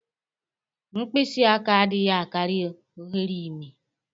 Mkpisị aka adịghị akari oghere imi.